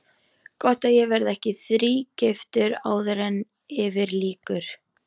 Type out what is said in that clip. Gott ef ég verð ekki þrígiftur áður en yfir lýkur.